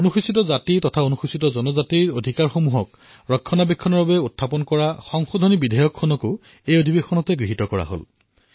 অনুসূচিত জাতি আৰু অনুসূচিত জনজাতিৰ অধিকাৰ সুৰক্ষিত কৰাৰ বাবে সংশোধিত বিধেয়কো গৃহীত কৰাৰ কাম এই সত্ৰত কৰা হল